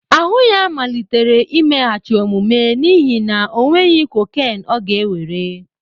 Ahụ ya malitere imeghachi omume n'ihi na ọ nweghị cocaine ọ ga-ewere